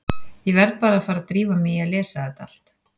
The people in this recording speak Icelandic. Ég verð bara að fara að drífa mig í að lesa þetta allt.